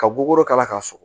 Ka boro kala ka sɔgɔ